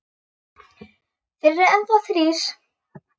Þeir eru enn þá þrír.